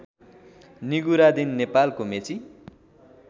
निगुरादिन नेपालको मेची